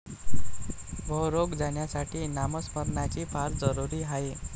भवरोग जाण्यासाठी नामस्मरणाची फार जरूरी आहे.